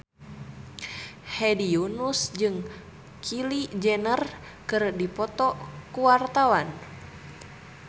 Hedi Yunus jeung Kylie Jenner keur dipoto ku wartawan